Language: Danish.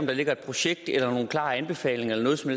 der ligger et projekt eller nogen klare anbefalinger eller noget som